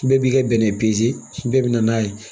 Bɛɛ b'i ka bɛnɛ bɛɛ bɛ na n'a ye